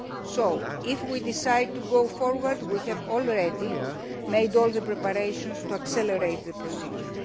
So, if we decide to go forward, we have already made all the preparations for accelerating the procedure.